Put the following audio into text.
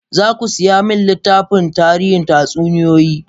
Za ku saya min littafin tarihin tatsuniyoyi?